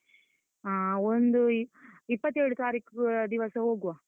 ಆ ಒಂದು ಇಪ್ಪತ್ತೇಳು ತಾರೀಖು ದಿವಸ ಹೋಗ್ವಾ.